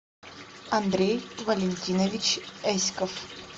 андрей валентинович эськов